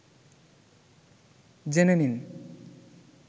জেনে নিন